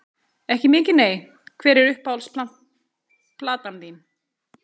Ekki mikið nei Hver er uppáhalds platan þín?